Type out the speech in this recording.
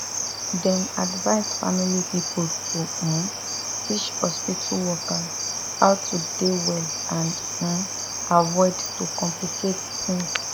dem advise family pipo to um teach hospitu workers how to dey well and um avoid to complicate tings